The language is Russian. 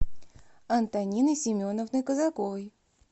антонины семеновны казаковой